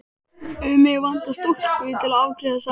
Mig vantar stúlku til að afgreiða sagði hann.